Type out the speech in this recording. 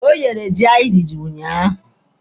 O yere ji anyị riri ụnyaahụ.